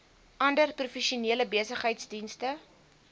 ander professionele besigheidsdienste